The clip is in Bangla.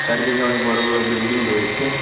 চারিদিকে অনেক বড় বড় বিল্ডিং রয়েছে।